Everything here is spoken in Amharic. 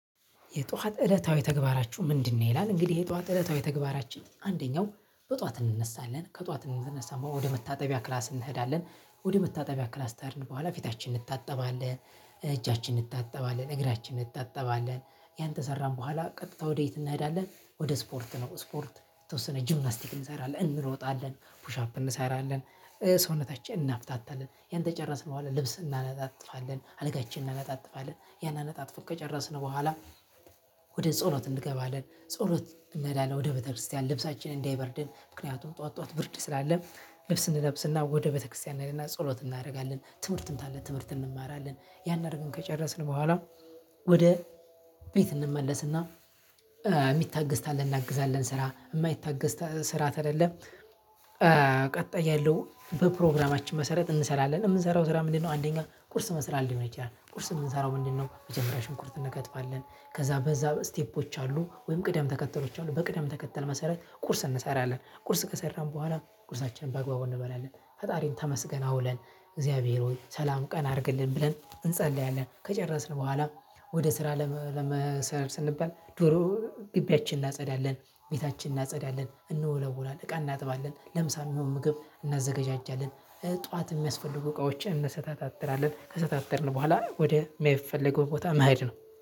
የጧት እለታዊ ተግባራችሁ ምንድነው? ይላል እንግዲህ የጧት እለታዊ ተግባራችን አንደኛው በጧት እንነሳለን ከጧት እንደተነሳን ወደ መታጠቢያ ክላስ እንሄዳለን ወደ መታጠቢያ ክላስ ከሄድን በኋላ ፊታችን እንታጠባለን እ እጃችን እንታጠባለን እግራችን እንታጠባለን። ያንተ ከሰራን በኋላ ቀጥታ ወዴት እንሄዳለን? ወደ ስፖርት ነው ስፖርት የተወሰነ ጂምናስቲክ እንሰራለን እንሮጣለን ፑሽ አፕ እንሰራለን እ ሰውነታችን እናፍታታለን ያን ከጨረስን በኋላ ልብስ እናነጣጥፋለን አልጋችን እናነጣጥፋለን ያንን አነጣትፈን ከጨረስን በኋላ። ወደ ጸሎት እንገባለን ጸሎት እንሄዳለን ወደ ቤተክርስቲያን ልብሳችንን እንዳይበርድን ምክንያቱም ጠዋት ጠዋት ብርድ ስላለ ልብስ እንለብስና ወደ ቤተክርስቲያን እንሄዳለን ጸሎት እናደርጋለን ትምህርትም ካለ ትምህርትን እንማራለን። ያን አድርገን ከጨረስን በኋላ። ወደ ቤት እንመለስና። የሚታገዝ ካለ እናግዛለን ስራ የማይታገዝ ስራ ከሌለ እ ቀጣይ ያለው በፕሮግራማችን መሰረት እንሰራለን። የምንሰራው ስራ ምንድነው? አንደኛ ቁርስ መስራት ሊሆን ይችላል ቁርስ የምንሰራው ምንድነው መጀመሪያ ሽንኩርት እንከትፋለን። ከዛ በዛ ስቴፖች አሉ ወይም ቅደም ተከተሎች አሉ በቅደም ተከተል መሰረት ቁርስ እንሰራለን። ቁርስ ከሰራን በኋላ ቁርሳችን በአግባቡ እንበላለን። ፈጣሪን ተመስገን አውለን እግዚአብሔር ሆይ ሰላም ቀን አድርግልን ብለን እንፀልያለን። ከጨረስን በኋላ ወደ ስራ ለመሰረት ስንባል ዶሮ ግቢያችንን እናጸዳለን። ቤታችንን እናጸዳለን እንወለውለውላል እቃ እናጥባለን ለምሳሌ የሚሆን ምግብ እናዘጋጃለን እ ጠዋት የሚያስፈልጉ እቃዎችን እንሰታትራለን ከሰታተርን በኋላ ወደ የሚፈልገው ቦታ መሄድ ነው